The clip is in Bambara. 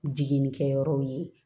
Jiginni kɛyɔrɔw ye